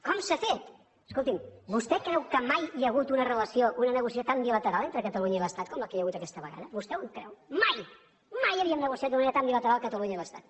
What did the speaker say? com s’ha fet escolti’m vostè creu que mai hi hagut una relació una negociació tan bilateral entre catalunya i l’estat com la que hi ha hagut aquesta vegada vostè ho creu mai mai havíem negociat d’una manera tan bilateral catalunya i l’estat